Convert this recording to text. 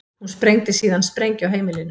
Hún sprengdi síðan sprengju á heimilinu